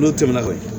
N'o tɛmɛna ka bɔ yen